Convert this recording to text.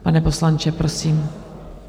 Pane poslanče, prosím.